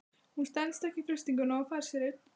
Hún stenst samt ekki freistinguna og fær sér einn.